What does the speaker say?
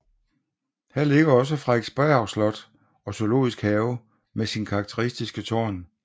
Her ligger også Frederiksberg Slot og Zoologisk Have med sit karakteristiske tårn